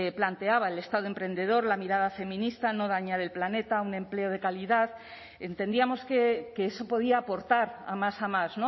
planteaba el estado emprendedor la mirada feminista no dañar el planeta un empleo de calidad entendíamos que eso podía aportar a más a más